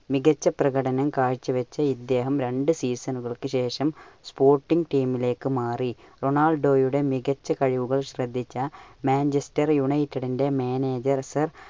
മികച്ച പ്രകടനം കാഴ്ച വെച്ച ഇദ്ദേഹം രണ്ടു season കൾക്ക് ശേഷം sporting team ലേക്കു മാറി. റൊണാൾഡോയുടെ മികച്ച കഴിവുകൾ ശ്രദ്ധിച്ച Manchester United ന്റെ manager സർ